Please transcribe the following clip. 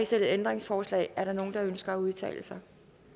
stillet ændringsforslag er der nogen der ønsker at udtale sig